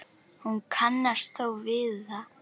Hún kannast þó við það.